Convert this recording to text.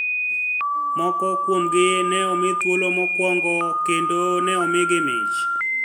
Moko kuomgi ne omi thuolo mokwongo kendo ne omigi mich